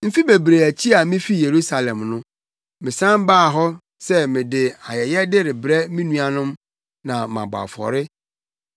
“Mfe bebree akyi a mifii Yerusalem no, mesan baa hɔ sɛ mede ayɛyɛde rebrɛ me nuanom na mabɔ afɔre.